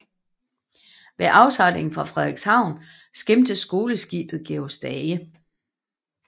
Ved afsejlingen fra Frederikshavn skimtes skoleskibet Georg Stage